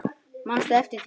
Manstu eftir því?